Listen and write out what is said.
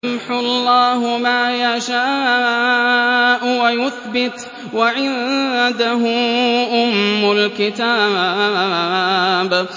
يَمْحُو اللَّهُ مَا يَشَاءُ وَيُثْبِتُ ۖ وَعِندَهُ أُمُّ الْكِتَابِ